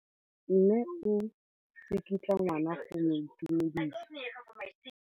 Mme o tsikitla ngwana go mo itumedisa.